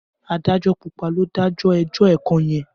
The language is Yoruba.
Adájọ́ púpà lò dàjọ ẹjọ ẹkan yen.